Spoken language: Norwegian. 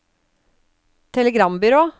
telegrambyrå